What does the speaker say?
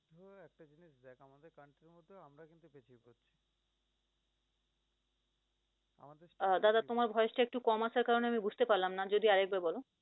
আহ দাদা তোমার voice টা একটু কম আসার কারনে আমি বুঝতে পারলাম না। যদি আরেকবার বল